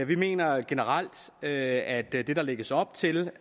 vi mener generelt at at det der lægges op til